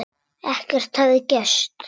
Ekkert hefði gerst.